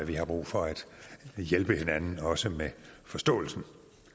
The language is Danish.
vi har brug for at hjælpe hinanden og også med forståelsen